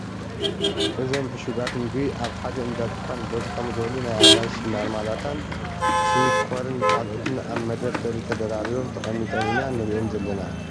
እዞም ዕሹጋት ምግቢ ኣብ ሓደ እናድካን በዝሖም ዝበሉ ናይ ኣራንሺ ማርማላታን ስዊት ኮርን ካልኦትን ኣብ ምደርደሪ ተደራሪቦም ተቀሚጦም ኢና ንሪኦም ዘለና ።